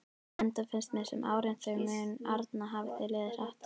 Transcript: Enda finnst mér sem árin þau arna hafi liðið hratt.